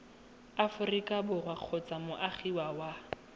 aforika borwa kgotsa moagi wa